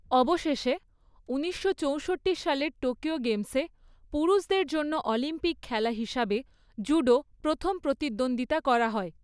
অবশেষে, ঊনিশশো চৌষট্টি সালের টোকিও গেমসে পুরুষদের জন্য অলিম্পিক খেলা হিসেবে জুডো প্রথম প্রতিদ্বন্দ্বিতা করা হয়।